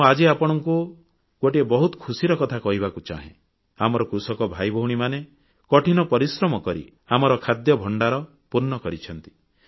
ମୁଁ ଆଜି ଆପଣମାନଙ୍କୁ ଗୋଟିଏ ବହୁତ ଖୁସିର କଥା କହିବାକୁ ଚାହେଁ ଆମର କୃଷକ ଭାଇଭଉଣୀମାନେ କଠିନ ପରିଶ୍ରମ କରି ଆମର ଖାଦ୍ୟଭଣ୍ଡାର ପୂର୍ଣ୍ଣ କରିଛନ୍ତି